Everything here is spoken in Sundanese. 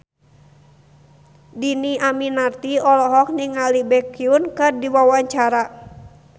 Dhini Aminarti olohok ningali Baekhyun keur diwawancara